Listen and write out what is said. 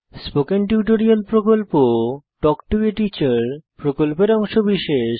spoken tutorial প্রকল্প talk to a teacher প্রকল্পের অংশবিশেষ